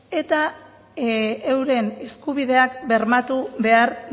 eta euren eskubideak bermatu behar